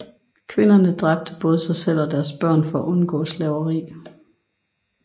Kvinderne dræbte både sig selv og deres børn for at undgå slaveri